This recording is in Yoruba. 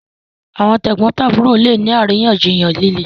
àwọn tegbontaburo lẹ ní àríyànjiyàn lílé.